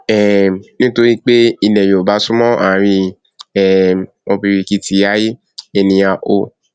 um nítorí pé ilẹ yorùbá súnmọ ààrin um ọbìrìkìtì aiyé ènìà ò